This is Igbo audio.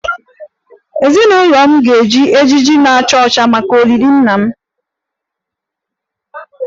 Ezinụlọ m ga-eji ejiji na-acha ọcha maka olili nna m